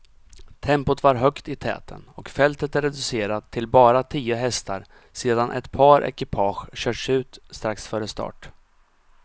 Tempot var högt i täten och fältet reducerat till bara tio hästar sedan ett par ekipage körts ut strax före start.